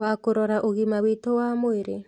Wa kũrora ũgima witũ wa mwĩrĩ